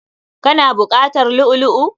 Ka na buƙatar lu'u lu'u?